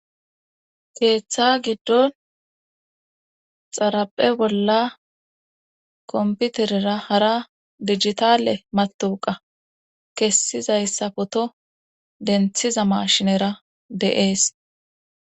keeththa giddon xaraphe bolla komputerera hara digitale matuqa kessizayssa poto denthiza mashinera de7ees